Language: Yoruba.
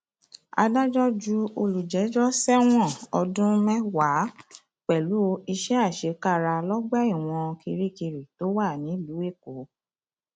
adájọ ju olùjẹjọ sẹwọn ọdún mẹwàá pẹlú iṣẹ àṣekára lọgbà ẹwọn kirikiri tó wà nílùú èkó